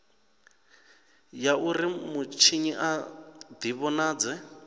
ya uri mutshinyi a divhonadze